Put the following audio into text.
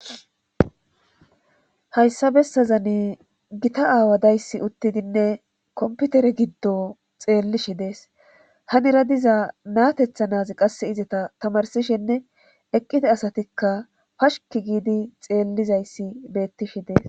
Hayssa bessazani gita aawa dayssi uttidinne komputere giddo xeellishi dees hanira diza natethanazi qasse izata tamarsishenne eqqite asatikka pashki giidi xeellizayssi beettishi deees.